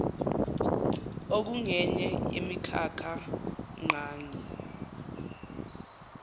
okungenye yemikhakha ngqangi